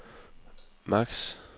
maks